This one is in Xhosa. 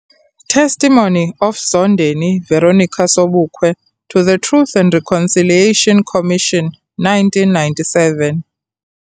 Testimony of Zondeni Veronica Sobukwe to the Truth and Reconciliation Commission 1997